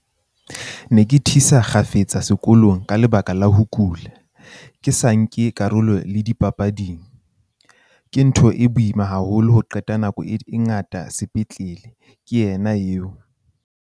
"Ke ne ke thisa kgafetsa sekolong ka lebaka la ho kula, ke sa nke karolo le dipapading. Ke ntho e boima haholo ho qeta nako e ngata sepetlele," ke yena eo.